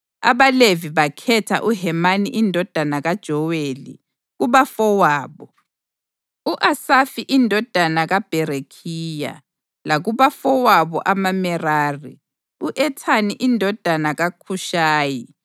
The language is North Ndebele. AbaLevi bakhetha uHemani indodana kaJoweli; kubafowabo, u-Asafi indodana kaBherekhiya; lakubafowabo amaMerari, u-Ethani indodana kaKhushaya;